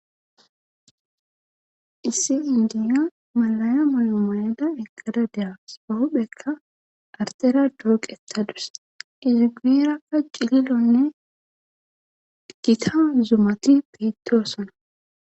Issi indiya malaya moyomayada eggada dea sohophekka artera dooqettadus izigirakka cililonne gita zumati pittosona.